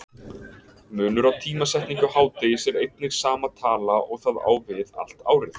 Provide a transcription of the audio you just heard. Munur á tímasetningu hádegis er einnig sama tala og það á við allt árið.